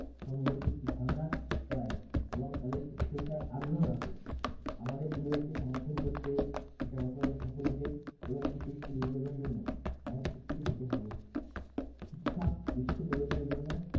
কম basic ধারণা পাই এবং তাদের শিক্ষিত সার আগ্রহ আসে আমাদের পরিবারকে সমর্থন করতে সফল হতে এইভাবে একটি সুস্থ জীবন যাপনের জন্য আমাদের শিক্ষিত হতে হবে শিক্ষা বিশ্ব পরিবর্তনের জন্য